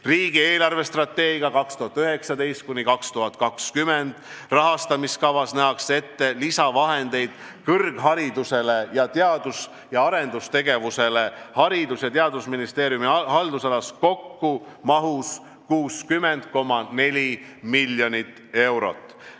Riigi eelarvestrateegia 2019–2022 rahastamiskavas nähakse kõrgharidusele ning teadus- ja arendustegevusele Haridus- ja Teadusministeeriumi haldusalas lisavahendeid ette kokku 60,4 miljonit eurot.